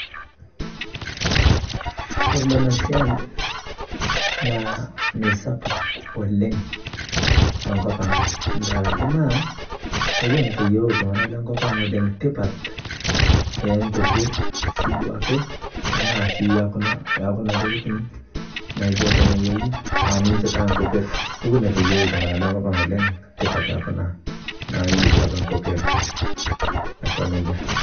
Ore duo enasiai, naa mesapuk oleng tonkop ang',nkaraki naa, kopuo notoyiolo iltung'anak lonkop ang' tipat eenkopir duo ake, tanaa si kuna ekuna tokiting naijo tenewueji, ah ninche itaa nkopir, ho neteyieu iltung'anak lonkop ang' oleng',tipat ekuna naiu duoke nkopir, aiko nejia.